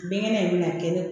Binkɛnɛ in bɛna kɛ ne